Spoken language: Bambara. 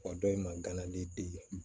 O dɔ in ma gana di